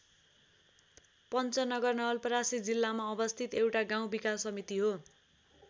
पन्चनगर नवलपरासी जिल्लामा अवस्थित एउटा गाउँ विकास समिति हो।